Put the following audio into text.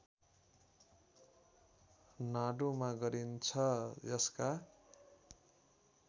नाडुमा गरिन्छ यसका